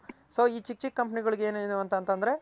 so ಈ ಚಿಕ್ ಚಿಕ್ company ಗಳ್ಗ್ ಏನು ಅಂತ ಅಂದ್ರೆ